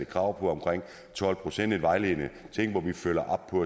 krav på omkring tolv procent en vejledende ting hvor vi følger op på